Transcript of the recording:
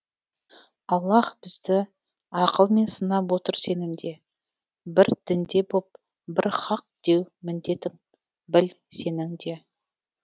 аллаһ бізді ақыл мен сынап отыр сенімде бір дінде боп бір хақ деу міндетің біл сенің де